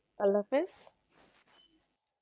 আল্লা হাফিজ